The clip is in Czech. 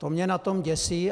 To mě na tom děsí.